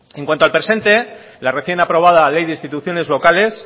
en cuanto al presente la recién aprobada ley de instituciones locales